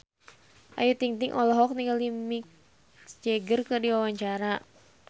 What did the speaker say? Ayu Ting-ting olohok ningali Mick Jagger keur diwawancara